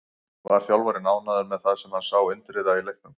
Var þjálfarinn ánægður með það sem hann sá Indriða í leiknum?